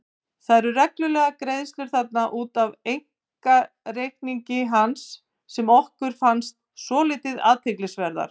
Það eru reglulegar greiðslur þarna út af einkareikningi hans sem okkur fannst svolítið athyglisverðar.